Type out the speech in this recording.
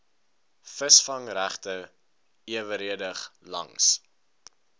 visvangregte eweredig langs